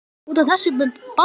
Út af. þessu með Baldur?